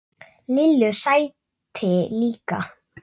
Lillu sæti líka.